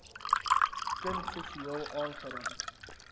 kind seksueel aangerand